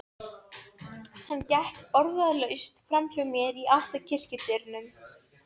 Áður en varði var allt logandi í slagsmálum.